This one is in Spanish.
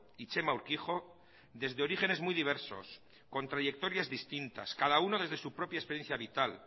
y txema urkijo desde orígenes muy diversos con trayectorias distintas cada uno desde su propia experiencia vital